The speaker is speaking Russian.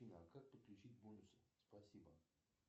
афина как подключить бонусы спасибо